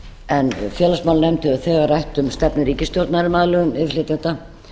en félagsmálanefnd hefur þegar rætt um stefnu ríkisstjórnar um aðlögun innflytjenda